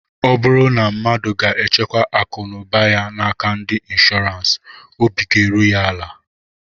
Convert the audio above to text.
Ọ bụrụ na mmadu ga-echekwa akụ na ụba ya n'aka ndị nshọọransị, obi ga-eru ya ala